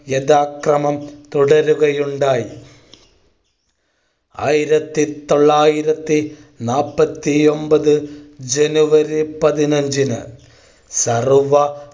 യഥാക്രമം തുടരുകയുണ്ടായി. ആയിരത്തി തൊള്ളായിരത്തി നാപ്പത്തി ഒമ്പത് ജനുവരി പതിനഞ്ചിന് സർവ്വ